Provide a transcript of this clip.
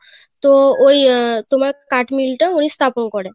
তোমার কাঠমিল টা তিনি স্থাপন করেন